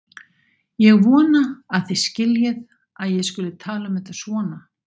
Ég vona að þið skiljið að ég skuli tala um þetta svona.